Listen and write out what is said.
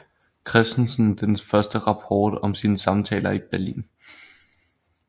Christensen den første rapport om sine samtaler i Berlin